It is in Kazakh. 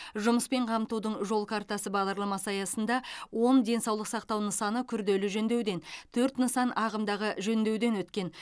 жұмыспен қамтудың жол картасы бағдарламасы аясында он денсаулық сақтау нысаны күрделі жөндеуден төрт нысан ағымдағы жөндеуден өткен